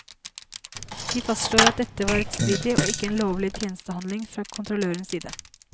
De fastslår at dette var rettsstridig og ikke en lovlig tjenestehandling fra kontrollørenes side.